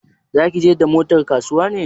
Za ki je da motar kasuwa ne?